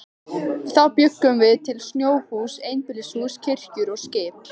Þá bjuggum við til snjóhús, einbýlishús, kirkjur og skip.